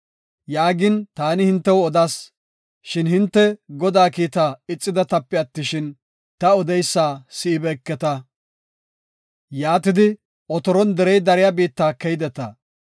Yaagin, taani hintew odas, shin hinte Godaa kiitta ixidetape attishin, ta odeysa si7ibeeketa; yaatidi otoron derey dariya biitta keydeta.